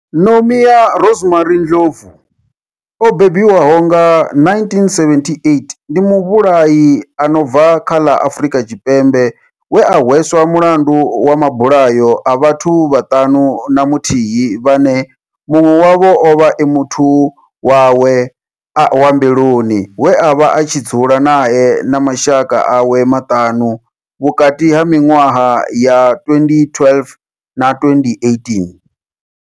Nomia Rosemary Ndlovu o bebiwaho nga, 1978, ndi muvhulahi a no bva kha ḽa Afrika Tshipembe we a hweswa mulandu wa mabulayo a vhathu vhaṱanu na muthihi vhane munwe wavho ovha a muthu wawe wa mbiluni we avha a tshi dzula nae na mashaka awe maṱanu, vhukati ha minwaha ya 2012 na 2018.